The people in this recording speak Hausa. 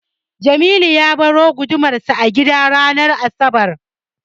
Jamilu ya baro gudumarsa a gida ranar asabar.